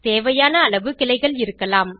தேவையான அளவு கிளைகள் இருக்கலாம்